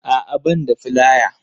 A'a ban da filaya